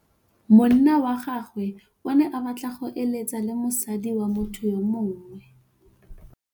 Monna wa gagwe o ne a batla go êlêtsa le mosadi wa motho yo mongwe.